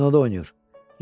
Kinoda oynayır.